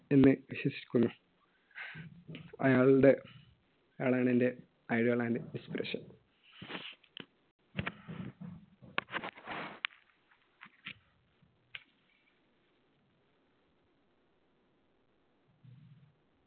എന്ന് വിശ്വസിക്കുന്നു. അയാളുടെ അയാളാണെന്‍റെ idol and inspiration.